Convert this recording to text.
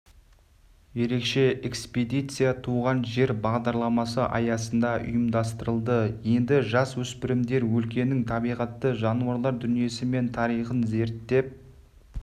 ерекше экспедиция туған жер бағдарламасы аясында ұйымдастырылды енді жасөспірімдер өлкенің табиғаты жануарлар дүниесі мен тарихын зерттеп